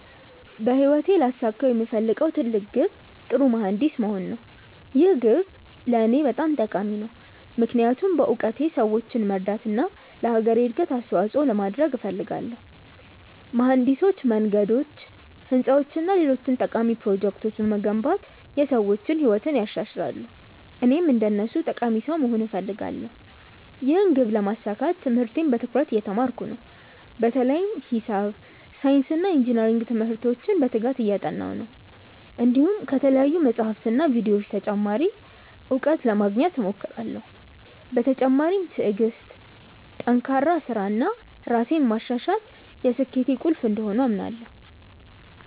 በህይወቴ ላሳካው የምፈልገው ትልቅ ግብ ጥሩ መሀንዲስ መሆን ነው። ይህ ግብ ለእኔ በጣም ጠቃሚ ነው፣ ምክንያቱም በእውቀቴ ሰዎችን ለመርዳት እና ለአገሬ እድገት አስተዋፅኦ ለማድረግ እፈልጋለሁ። መሀንዲሶች መንገዶች፣ ህንፃዎች እና ሌሎች ጠቃሚ ፕሮጀክቶችን በመገንባት የሰዎችን ህይወት ያሻሽላሉ፣ እኔም እንደነሱ ጠቃሚ ሰው መሆን እፈልጋለሁ። ይህን ግብ ለማሳካት ትምህርቴን በትኩረት እየተማርኩ ነው፣ በተለይም ሂሳብ፣ ሳይንስ እና ኢንጅነሪንግ ትምህርቶችን በትጋት እያጠናሁ ነው። እንዲሁም ከተለያዩ መጻሕፍትና ቪዲዮዎች ተጨማሪ እውቀት ለማግኘት እሞክራለሁ። በተጨማሪም ትዕግሥት፣ ጠንካራ ሥራ እና ራሴን ማሻሻል የስኬቴ ቁልፍ እንደሆኑ አምናለሁ።